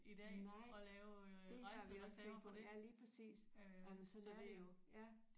Nej det har vi også tænkt på ja lige præcis jamen sådan er det jo ja